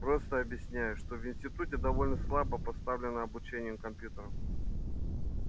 просто объясняю что в институте довольно слабо поставлено обучение компьютерам